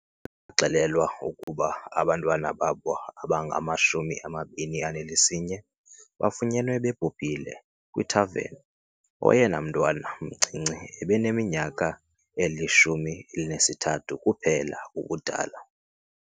Baxelelwa ukuba abantwana babo abangama-21 bafunyenwe bebhubhile, kwithaveni. Oyena mntwana mncinci ebeneminyaka eli-13 kuphela ubudala.